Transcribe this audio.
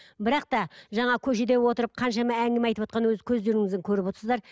бірақ та жаңа көшеде отырып қаншама әңгіме айтып отырған өз көздеріңізбен көріп отырсыздар